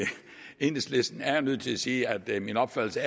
enhedslisten er jeg nødt til at sige at min opfattelse